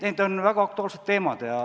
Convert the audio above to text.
Need on väga aktuaalsed teemad.